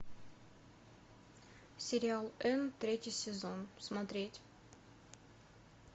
сериал энн третий сезон смотреть